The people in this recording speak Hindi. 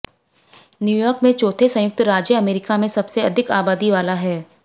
न्यू यॉर्क में चौथे संयुक्त राज्य अमेरिका में सबसे अधिक आबादी वाला है